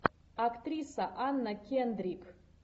актриса анна кендрик